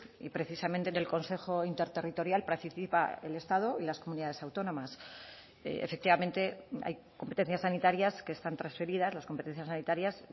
y precisamente en el consejo interterritorial participa el estado y las comunidades autónomas efectivamente hay competencias sanitarias que están transferidas las competencias sanitarias